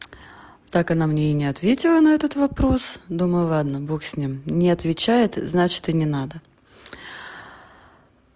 так она мне и не ответила на этот вопрос думаю ладно бог с ним не отвечает значит и не надо